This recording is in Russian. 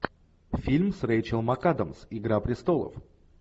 фильм с рейчел макадамс игра престолов